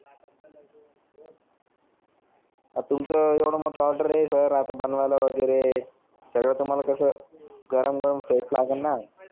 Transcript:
अर तुमचे एवढे मोठ ऑर्डर है सर आता बनवायला वगेरे तेवढ तर सर मला गरम गरम टेस्ट लागेल ना